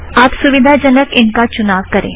आप सुविधाजनक इनका चुनाव करें